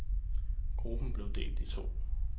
Gruppen blev delt i to.